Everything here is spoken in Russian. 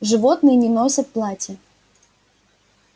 животные не носят платья